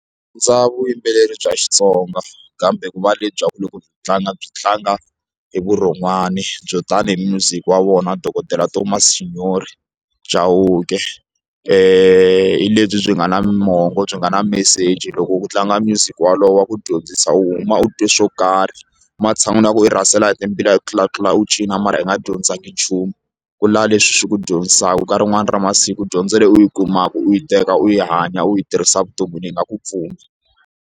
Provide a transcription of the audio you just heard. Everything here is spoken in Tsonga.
Ndza vuyimbeleri bya Xitsonga kambe ku va lebyaku loko byi tlanga byi tlanga hi vurhon'wani byo tani hi music wa vona dokodela Thomas xinyoxi Chauke hi lebyi byi nga na mongo byi nga na meseji loko u tlanga music wolowo wa ku dyondzisa u huma u twe swo karhi matshan'wini ya ku u rhasela hi timbila hi ku tlulatlula u cina mara i nga dyondzanga nchumu ku lava leswi swi ku dyondzisaka nkarhi wun'wani ra masiku u dyondzele u yi kumaka u yi teka u yi hanya u yi tirhisa evuton'wini yi nga ku pfuna.